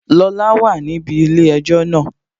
Lọla wà níbi ilé-ẹjọ́ náà